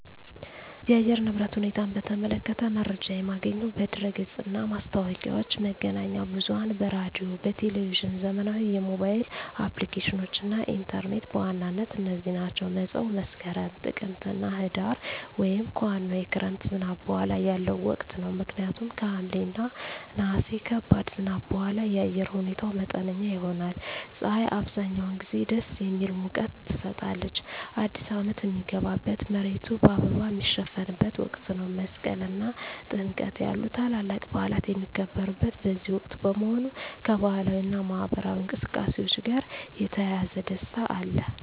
የአየር ንብረት ሁኔታን በተመለከተ መረጃ የማገኘው በድረ-ገጽ እና ማስታወቂያዎች፣ መገናኛ ብዙኃን በራዲዮ፣ በቴሊቭዥን፣ ዘመናዊ የሞባይል አፕሊኬሽኖች እና ኢንተርኔት በዋናነት እነዚህ ናቸው። መፀው መስከረም፣ ጥቅምትና ህዳር) ወይም ከዋናው የክረምት ዝናብ በኋላ ያለው ወቅት ነው። ምክንያቱም ከሐምሌ እና ነሐሴ ከባድ ዝናብ በኋላ የአየር ሁኔታው መጠነኛ ይሆናል። ፀሐይ አብዛኛውን ጊዜ ደስ የሚል ሙቀት ትሰጣለች። አዲስ አመት ሚገባበት፣ መሬቱ በአበባ ሚሸፈንበት ወቅት ነው። መስቀል እና ጥምቀት ያሉ ታላላቅ በዓላት የሚከበሩት በዚህ ወቅት በመሆኑ፣ ከባህላዊ እና ማኅበራዊ እንቅስቃሴዎች ጋር የተያያዘ ደስታ አለ።